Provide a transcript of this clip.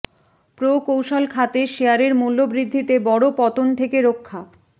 প্রকৌশল খাতের শেয়ারের মূল্য বৃদ্ধিতে বড় পতন থেকে রক্ষা